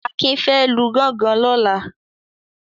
Akin fẹ́ lu gọ́ngọn lọ́la.